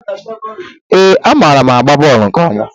Ee, amaara m agba bọọlụ nke ọma